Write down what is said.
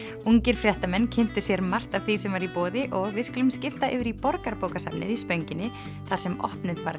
ungir fréttamenn kynntu sér margt af því sem var í boði og við skulum skipta yfir í Borgarbókasafnið í Spönginni þar sem opnuð var